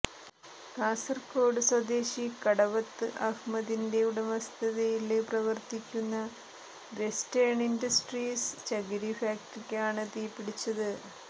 കാസര്കോട് സ്വദേശി കടവത്ത് അഹ് മദിന്റെ ഉടമസ്ഥതയില് പ്രവര്ത്തിക്കുന്ന വെസ്റ്റേണ് ഇന്ഡസ്ട്രീസ് ചകിരി ഫാക്ടറിക്കാണ് തീപിടിച്ചത്